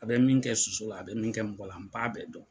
A bɛ min kɛ soso la a bɛ min kɛ mɔgɔ la n b'a bɛɛ dɔn.